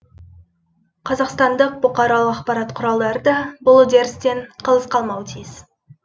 қазақстандық бұқаралық ақпарат құралдары да бұл үдерістен қалыс қалмауы тиіс